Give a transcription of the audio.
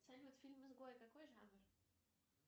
салют фильм изгой какой жанр